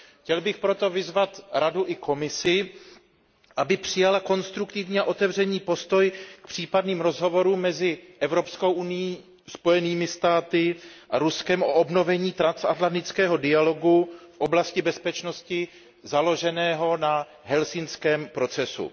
Chtěl bych proto vyzvat Radu i Komisi, aby přijaly konstruktivní a otevřený postoj k případným rozhovorům mezi Evropskou unií, Spojenými státy a Ruskem o obnovení transatlantického dialogu v oblasti bezpečnosti založeného na helsinském procesu.